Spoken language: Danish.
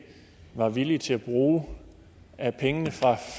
var villige til at bruge af pengene fra